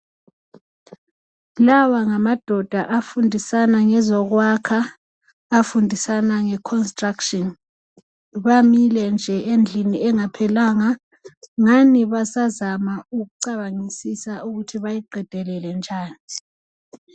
Lawa ngamadoda afundisana ngezokwakha, afundisana nge construction. Bamile nje endlini engaphelanga ngani basazama ukucabangisisa ukuthi bayiqedelele njani.